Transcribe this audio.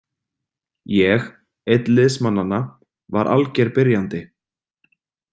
Ég, einn liðsmannanna, var alger byrjandi.